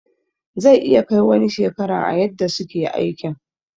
Zai iya Kai wani shekaran a yadda suke aikin.